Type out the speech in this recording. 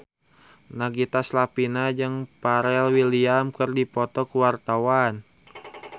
Nagita Slavina jeung Pharrell Williams keur dipoto ku wartawan